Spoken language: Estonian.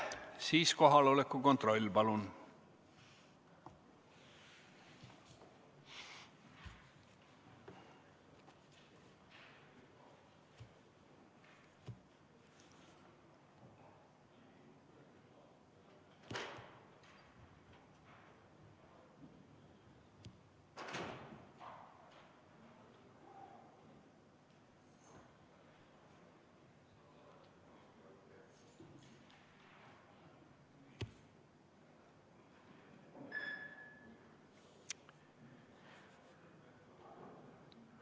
Siis kohaloleku kontroll, palun!